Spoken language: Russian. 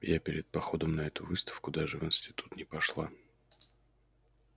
я перед походом на эту выставку даже в институт не пошла